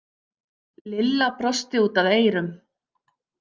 Lilla brosti út að eyrum.